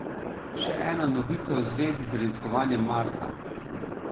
Še ena novica v zvezi z raziskovanjem Marsa.